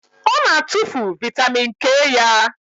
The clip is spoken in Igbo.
Ọ na-atụfu vitamin K ya.